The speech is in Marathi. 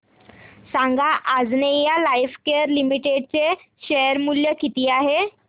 सांगा आंजनेया लाइफकेअर लिमिटेड चे शेअर मूल्य किती आहे